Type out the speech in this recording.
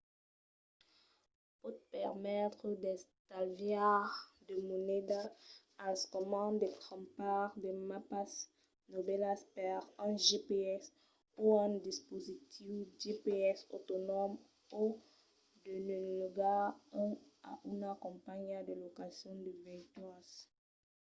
pòt permetre d'estalviar de moneda al moment de crompar de mapas novèlas per un gps o un dispositiu gps autonòm o de ne logar un a una companhiá de locacions de veituras